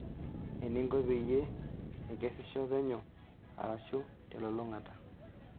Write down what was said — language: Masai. Eninko peyie nkesisho penyo arashu telulung'ata.